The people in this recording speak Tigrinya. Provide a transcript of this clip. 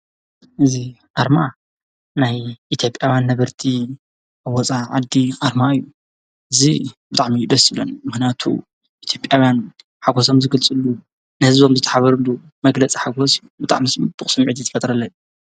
እዚ አርማ ናይ ኢትዮጵያውያን ነበርቲ ፣ ወፃእ ዓዲ አርማ እዩ፡፡ እዚ ብጣዕሚ እዩ ደስ ዝብለኒ፡፡ ምክንያቱ ኢትዮጵያውያን ሓጎሶም ዝገልፅሉ ንህዝቦም ዝተሓባበርሉ መግለፂ ሓጎስ እዩ፡፡ ብጣዕሚ እዩ ፅቡቅ ስሚዒት ዝፈጥረለይ፡፡